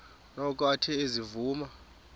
noko athe ezivuma